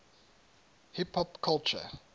hip hop culture